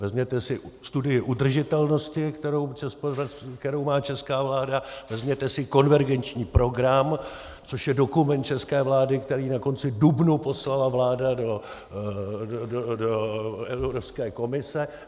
Vezměte si studii udržitelnosti, kterou má česká vláda, vezměte si konvergenční program, což je dokument české vlády, který na konci dubna poslala vláda do Evropské komise.